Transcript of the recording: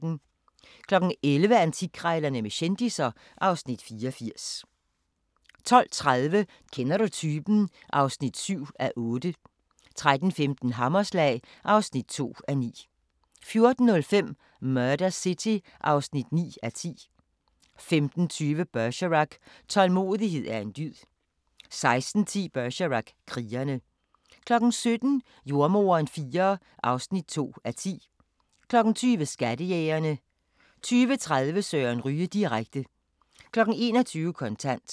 11:00: Antikkrejlerne med kendisser (Afs. 84) 12:30: Kender du typen? (7:8) 13:15: Hammerslag (2:9) 14:05: Murder City (9:10) 15:20: Bergerac: Tålmodighed er en dyd 16:10: Bergerac: Krigere 17:00: Jordemoderen IV (2:10) 20:00: Skattejægerne 20:30: Søren Ryge direkte 21:00: Kontant